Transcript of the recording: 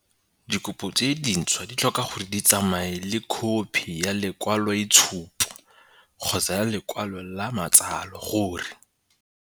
Dikopo tse dintšhwa di tlhoka gore di tsamaye le khophi ya lekwaloitshupo kgotsa ya lekwalo la matsalo gore.